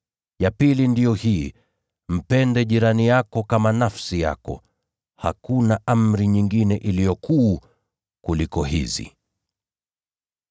Ya pili ndiyo hii: ‘Mpende jirani yako kama nafsi yako.’ Hakuna amri nyingine iliyo kuu kuliko hizi.”